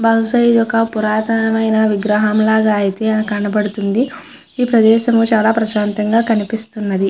భావుషా ఇది ఒక పురాతనమైన విగ్రహం లాగా అయతె కనిపడుతుంది ఈ ప్రదేశము చాల ప్రసాంతగా కనిపిస్తునది.